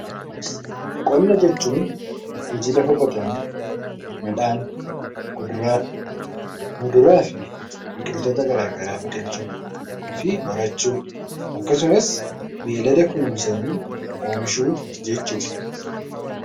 Qonna jechuun hojii lafa qotanii midhaan, kuduraa, muduraa fi biqiltoota garaagaraa biqilchuu fi horachuu akkasumas beeylada kunuunsanii oomishuu jechuu dha.